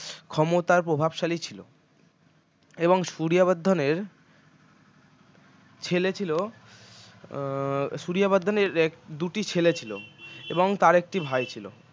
ক্ষমতার প্রভাবশালী ছিল এবং সূরিয়া বর্ধন এর ছেলে ছিল উম সূরিয়া বর্ধন এর দুটি ছেলে ছিল এবং তার একটি ভাই ছিল